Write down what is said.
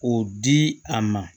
O di a ma